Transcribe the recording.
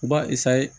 U b'a